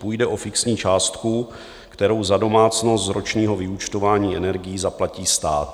Půjde o fixní částku, kterou za domácnost z ročního vyúčtování energií zaplatí stát.